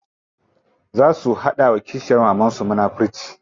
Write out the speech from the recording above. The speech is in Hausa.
Za su hada wa kishiyar mamansu munafurci.